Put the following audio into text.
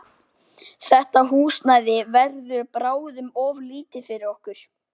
Þetta húsnæði verður bráðum of lítið fyrir okkur.